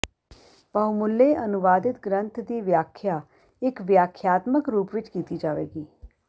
ਬਹੁਮੱਲੇ ਅਨੁਵਾਦਿਤ ਗ੍ਰੰਥ ਦੀ ਵਿਆਖਿਆ ਇਕ ਵਿਆਖਿਆਤਮਕ ਰੂਪ ਵਿਚ ਕੀਤੀ ਜਾਵੇਗੀ